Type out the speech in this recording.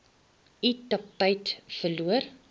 u aptyt verloor